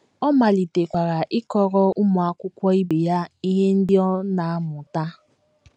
Ọ malitekwara ịkọrọ ụmụ akwụkwọ ibe ya ihe ndị ọ na - amụta.